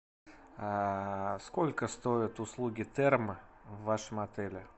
а сколько стоят услуги термо в вашем отеле